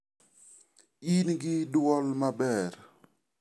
In gi dwol maber.